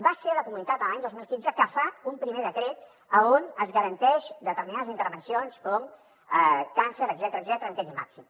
va ser la comunitat l’any dos mil quinze que fa un primer decret on es garanteixen determinades intervencions com càncer etcètera en temps màxim